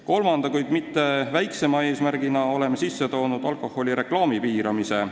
Kolmanda, kuid mitte väiksema eesmärgina oleme sisse toonud alkoholireklaami piiramise.